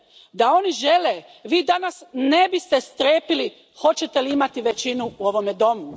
Da oni žele, Vi danas ne biste strepili hoćete li imati većinu u ovome domu.